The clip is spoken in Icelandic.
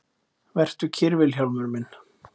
Vertu kyrr Vilhjálmur minn.